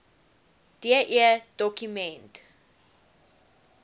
de doku ment